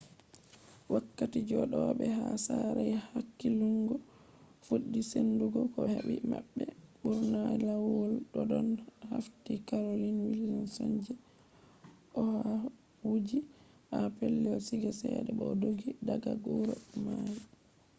wakkati jodobe ha sare haya hakillungo fuddi sendugo ko hebi mabbe bur’na layuol doddon hafti carolyn wilsonje oha wujji ha pellel siiga chede bo o doggi daga huro mai